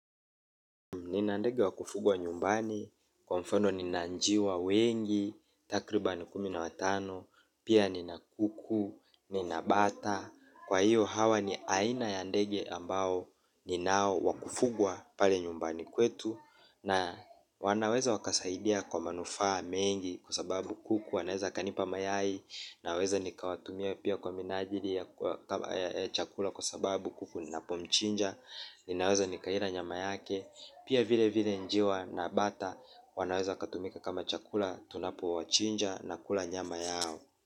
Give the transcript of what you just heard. Nina ndege wa kufugwa nyumbani, kwa mfano nina njiwa wengi, takribani kumi na watano, pia nina kuku, nina bata. Kwa hiyo hawa ni aina ya ndege ambao ninao wakufugwa pale nyumbani kwetu. Na wanaweza wakasaidia kwa manufaa mengi kwa sababu kuku wanaweza wakanipa mayai naweza nikawatumia pia kwa minajiri kama ya chakula kwasababu kuku ninapomchinja. Nina weza nikaila nyama yake. Pia vile vile njiwa na bata wanaweza wakatumika kama chakula tunapo wachinja na kula nyama yao.